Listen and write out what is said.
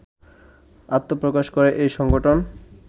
আত্মপ্রকাশ করে এই সংগঠন